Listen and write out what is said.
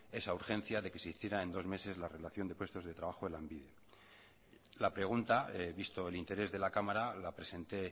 esa urgencia de que se hiciera en dos meses la relación de puestos de trabajo en lanbide la pregunta visto el interés de la cámara la presenté